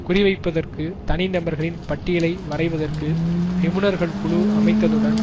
குறிவைப்பதற்கு தனி நபர்களின் பட்டியலை வரைவதற்கு நிபுணர்கள் குழு அமைத்ததுடன்